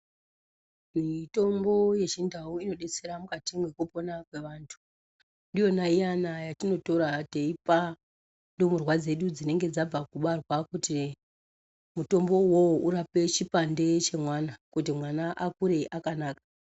Mitombo yechindau inodetsera mukati mwekupona kwevantu. Ndiyona iyana yatinotora teipa ndumurwa dzedu dzinenge dzabva kubarwa kuti mutombo uwowo urape chipande chemwana. Kuti mwana akure akanaka.